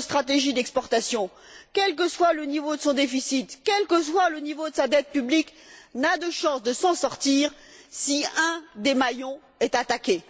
stratégie d'exportation, quel que soit le niveau de son déficit, quel que soit le niveau de sa dette publique, n'a de chances de s'en sortir si l'un des maillons est attaqué.